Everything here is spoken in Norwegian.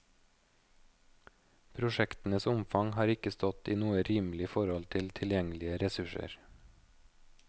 Prosjektenes omfang har ikke stått i noe rimelig forhold til tilgjengelige ressurser.